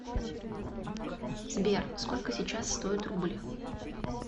сбер сколько сейчас стоит рубль